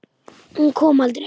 Hún kom aldrei.